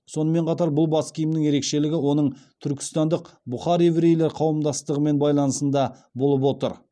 сонымен қатар бұл бас киімнің ерекшелігі оның түркістандық бұхар еврейлер қауымдастығымен байланысында болып отыр